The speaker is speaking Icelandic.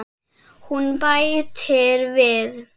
Hún bætir við: Fylgið mér